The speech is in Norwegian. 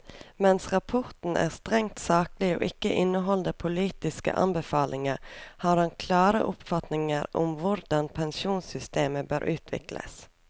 Mens rapporten er strengt saklig og ikke inneholder politiske anbefalinger, har han klare oppfatninger om hvordan pensjonssystemer bør utvikles.